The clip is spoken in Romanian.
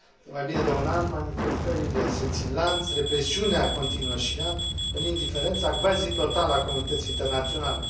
De mai bine de un an, manifestările se țin lanț, represiunea continuă și ea, în indiferența cvasi totală a comunității internaționale.